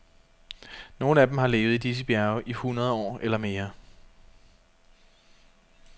Nogle af dem har levet i disse bjerge i hundrede år eller mere.